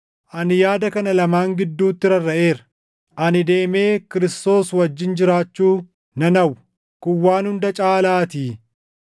Ani yaada kana lamaan gidduutti rarraʼeera; ani deemee Kiristoos wajjin jiraachuu nan hawwa; kun waan hunda caalaatii;